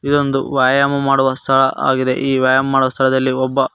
ಇದೊಂದು ವ್ಯಾಯಾಮ ಮಾಡುವ ಸ್ಥಳ ಆಗಿದೆ ಈ ವ್ಯಾಯಾಮ ಮಾಡುವ ಸ್ಥಳದಲ್ಲಿ ಒಬ್ಬ --